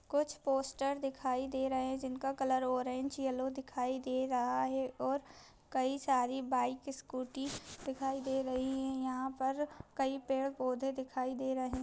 कुछ पोस्टर दिखाई दे रहे हैं जिनका कलर ऑरेंज येलो दिखाई दे रहा है और कई सारी बाइक स्कूटी दिखाई दे रही है यहाँ पर कई पेड़ पौधे दिखाई दे रहे--